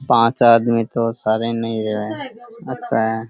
पांच आदमी तो सारे ना है अच्छा है।